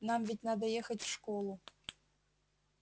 нам ведь надо ехать в школу